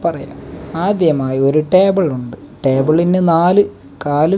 പറയാം ആദ്യമായി ഒരു ടേബിൾ ഉണ്ട് ടേബിളിന് നാല് കാൽ--